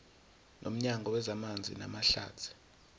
nomnyango wezamanzi namahlathi